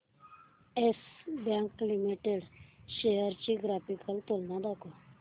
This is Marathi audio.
येस बँक लिमिटेड च्या शेअर्स ची ग्राफिकल तुलना दाखव